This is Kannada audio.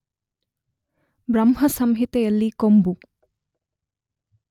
ಬ್ರಹ್ಮ ಸಂಹಿತೆಯಲ್ಲಿ ಕೊಂಬು